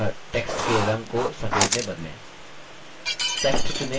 अतः text के रंग को सफेद में बदलें